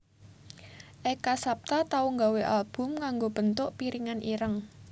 Eka Sapta tau nggawé album nagnggo bentuk piringan ireng